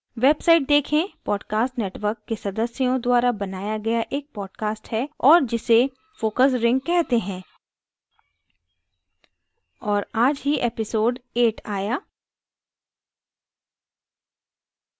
website देखें podcast network के सदस्यों द्वारा बनाया गया एक podcast है और जिसे focus ring कहते हैं और आज ही episode 8 आया